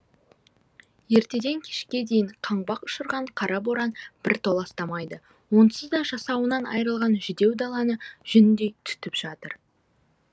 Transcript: ертеден кешке дейін қаңбақ ұшырған қара боран бір толастамайды онсыз да жасауынан айырылған жүдеу даланы жүндей түтіп жатыр